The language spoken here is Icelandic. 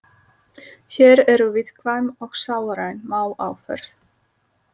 Hér eru viðkvæm og sálræn mál á ferð.